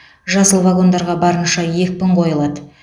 жасыл вагондарға барынша екпін қойылады